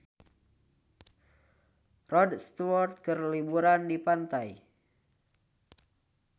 Rod Stewart keur liburan di pantai